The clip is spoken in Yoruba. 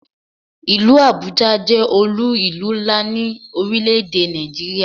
Ìlú Abuja jẹ́ olú ìlú ńlá ni orile-ede Nigeria